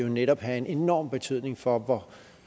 netop have en enorm betydning for